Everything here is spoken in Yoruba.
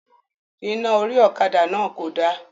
Iná orí ọ̀kadà náà kò da